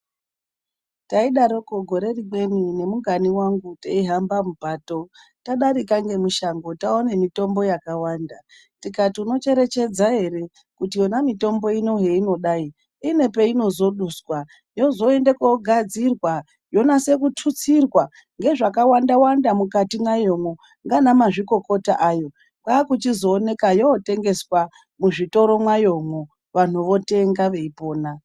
Taidaroko gore rimweni ngemungani wangu teihamba mupato tadarika ngemushango taona mitombo yakawanda. Tikati munocherechedza ere kuti yona mitombo zveinodai, ine peinozoduswa yozoenda kundogadzirwa yonyasa kututsirwa ngezvakawanda wanda mukati mayomo nana mazvikokota ayo. Yakuchionekwa yotengeswa muzvitoro mayo vandu voonekwa vachiitenga.